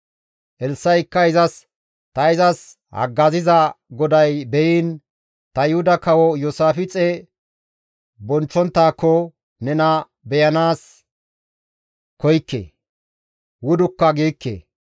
Elssa7ikka izas, «Ta izas haggaziza GODAY beyiin, ta Yuhuda kawo Iyoosaafixe bonchchonttaakko nena beyanaas koykke; wudukka giikke.